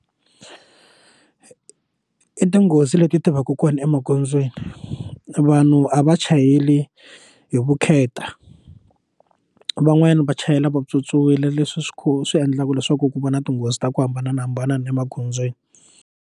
I tinghozi leti ti va ka kona emagondzweni vanhu a va chayeli hi vukheta van'wanyana va chayela vatswotswiwile leswi swi kha swi endlaka leswaku ku va na tinghozi ta ku hambanahambana na emagondzweni.